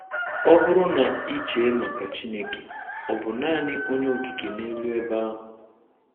Ọ bụrụ na ị chee maka Chineke, Ọ bụ naanị Onye Okike n'elu ebe ahụ?